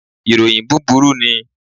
Iroyin buburu ni